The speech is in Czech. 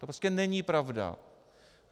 To prostě není pravda.